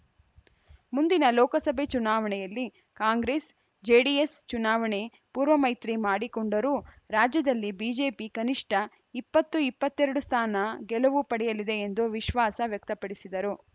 ಮುಂದಿನ ಲೋಕಸಭೆ ಚುನಾವಣೆಯಲ್ಲಿ ಕಾಂಗ್ರೆಸ್‌ಜೆಡಿಎಸ್‌ ಚುನಾವಣೆ ಪೂರ್ವ ಮೈತ್ರಿ ಮಾಡಿಕೊಂಡರೂ ರಾಜ್ಯದಲ್ಲಿ ಬಿಜೆಪಿ ಕನಿಷ್ಠ ಇಪ್ಪತ್ತು ಇಪ್ಪತ್ತ್ ಎರಡು ಸ್ಥಾನ ಗೆಲುವು ಪಡೆಯಲಿದೆ ಎಂದು ವಿಶ್ವಾಸ ವ್ಯಕ್ತಪಡಿಸಿದರು